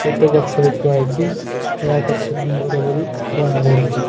ଛୋଟ ଗଛ ବି ଥୁଆ ହେଇଚି ଏହା ଏକ ସେଲୁନ ଘର ପରି ଜଣାପଡ଼ୁଚି।